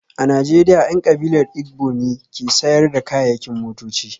A Najeriya, 'yan kabilar Igbo ne ke sayar da kayayyakin motoci